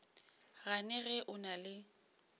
gane ge o na le